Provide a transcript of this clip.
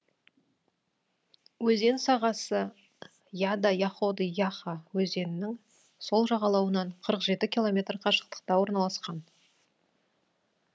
өзен сағасы яда яходы яха өзенінің сол жағалауынан қырық жеті километр қашықтықта орналасқан